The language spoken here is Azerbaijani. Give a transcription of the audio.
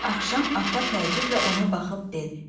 Axşam ata təəccüblə ona baxıb dedi: